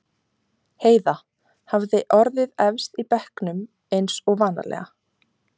Heiða hafði orðið efst í bekknum eins og vanalega.